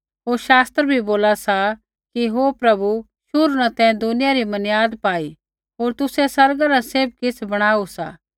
होर शास्त्र बी बोला सा कि हे प्रभु शुरू न तैं दुनिया री मनियाद पाई होर तुसै आसमाना न सैभ किछ़ बणाऊ सा